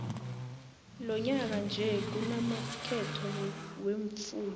lonyaka nje kunamakhetho wemfunda